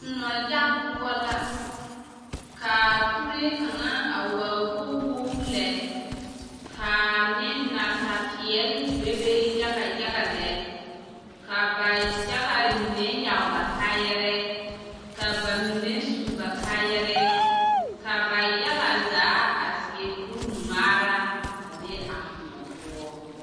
Kõɔ yage poɔ la ka kuree kaŋ a waa wogi wogi lɛ k'a nasa peɛle bebe yaga yaga lɛ ka ba yaga mine yage ba kaayarɛɛ ka ba mine su ba kaayarɛɛ ka ba yaga zaa a seɛ kuri ŋmaara a be a kõɔ poɔ.